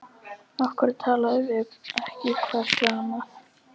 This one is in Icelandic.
Af hverju talið þið ekki hvert við annað?